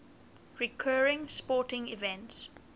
recurring sporting events